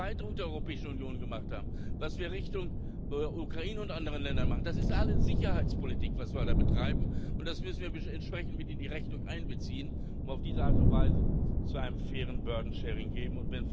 Was wir mit der Erweiterung der Europäischen Union gemacht haben, was wir Richtung Ukraine und anderen Ländern machen, das ist alles Sicherheitspolitik, was wir da betreiben, und das müssen wir entsprechend in die Rechnung miteinbeziehen, um auf diese Art und Weise zu einer fairen Lastenteilung zu